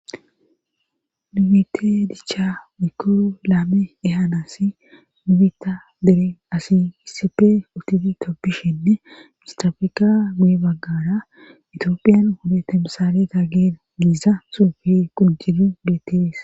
Tobetid dicha woyko laame ehanas nibita deren asi kisipe utifi koppishinne mistrafeka guye baggara itiophiyan hodette misale taggeen giiza suufi quncidi bets